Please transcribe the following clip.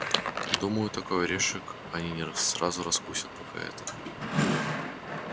думаю такой орешек они не сразу раскусят пока это